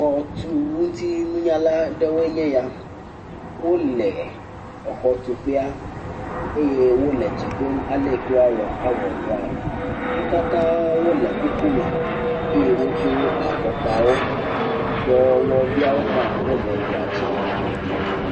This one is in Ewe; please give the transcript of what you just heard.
Xɔtuŋutinunyala aɖewoe nye ya. Wole exɔtuƒea eye wole dzem dom ale yi woawɔ awɔ dɔaɛ. Wo katã wole kukume eye wodo afɔkpawo. Dɔwɔwɔviawo hã, wole dɔa dzi.